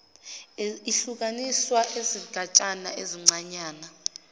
ihlukaniswa izigatshana ezincanyana